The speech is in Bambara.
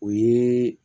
O ye